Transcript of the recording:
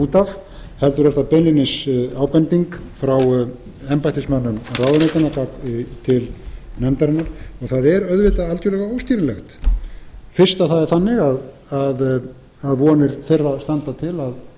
út af heldur er það beinlínis ábending frá embættismönnum ráðuneytanna til nefndarinnar það er auðvitað algjörlega óskiljanlegt fyrst að það er þannig að vonir þeirra standa til að